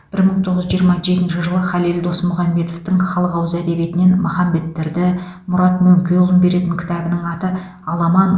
бір мың тоғыз жүз жиырма жетінші жылы халел досмұхамедовтің халық ауыз әдебиетінен махамбеттерді мұрат мөңкеұлын беретін кітабының аты аламан